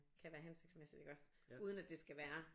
Kan være hensigtsmæssigt iggås uden at det skal være